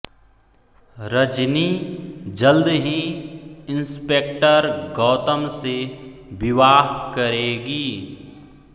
रजनी जल्द ही इंस्पेक्टर गौतम से विवाह करेगी